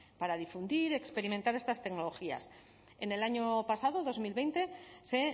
para difundir experimentar estas tecnologías en el año pasado dos mil veinte se